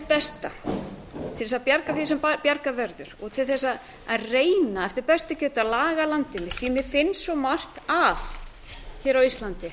besta til þess að bjarga því sem bjargað verður og til þess að reyna eftir bestu getu að laga landið mitt mér finnst svo margt að hér á íslandi